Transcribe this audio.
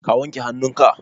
ka wanke hannunka?